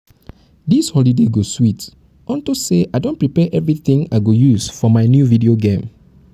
dis holiday go sweet unto say i don prepare everything i go use for my new video game